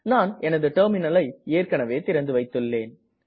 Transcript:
நான் எனது டெர்மினல் ஐ ஏற்கனவே திறந்துவைத்துள்ளேன்